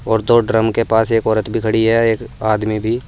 और दो ड्रम के पास एक औरत भी खड़ी है एक आदमी भी --